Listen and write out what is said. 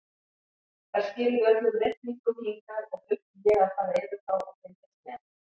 Þær skiluðu öllum reikningum hingað og þurfti ég að fara yfir þá og fylgjast með.